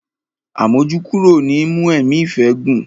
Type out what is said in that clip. Àmójúkúrò ni í mú ẹ̀mí ìfẹ́ gùn.